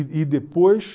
E depois...